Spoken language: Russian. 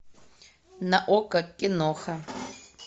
на окко киноха